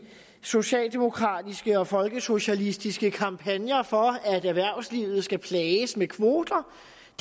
socialdemokratiske og folkesocialistiske kampagner for at erhvervslivet skal plages med kvoter